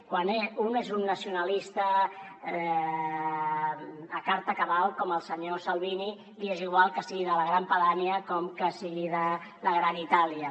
quan un és un nacionalista com no n’hi ha com el senyor salvini li és igual que sigui de la gran padània o que sigui de la gran itàlia